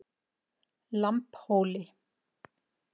Lambhóli